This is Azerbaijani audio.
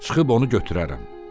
Çıxıb onu götürərəm."